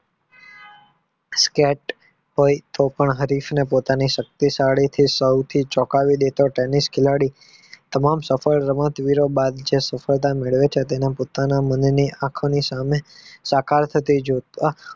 પોતાની શક્તિ સૌથી ચોંકાવી દેતા તેની જ ખિલાડી તમામ સફળ બાદ જ સફળતા મેળવી શકે તેમાં પોતાની મનને આંખની સામે સાકાર થતા જોતા